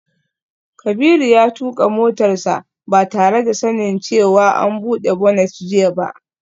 Kabiru ya tuka motarsa ​​ba tare da sanin cewa an bude bonnet jiya ba